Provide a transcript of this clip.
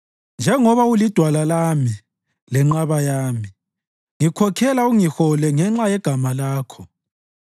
Njengoba ulidwala lami lenqaba yami, ngikhokhela ungihole ngenxa yegama Lakho.